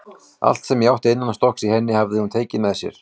Allt sem ég átti innanstokks í henni hafði hún tekið með sér.